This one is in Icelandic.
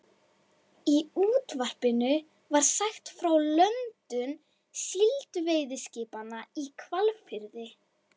Í útvarpinu var sagt frá löndun síldveiðiskipanna í Hvalfirði.